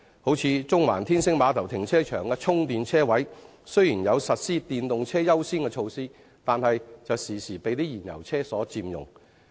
例如中環天星碼頭停車場的充電車位雖然實施電動車優先的措施，卻經常被燃油汽車佔用。